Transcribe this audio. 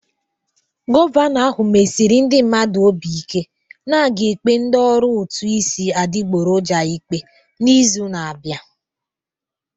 Gọvanọ ahụ mesiri ndị mmadụ obi ike na a ga-ekpe ndị ọrụ ụtụ isi adịgboroja ikpe n'izu na-abịa